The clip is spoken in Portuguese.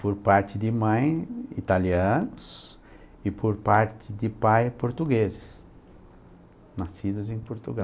Por parte de mãe, italianos, e por parte de pai, portugueses, nascidos em Portugal.